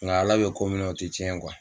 Nka ala bɛ ko min na o tɛ tiɲɛ